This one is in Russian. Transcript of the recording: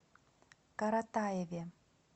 каратаеве